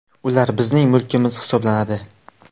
Ular bizning mulkimiz hisoblanadi.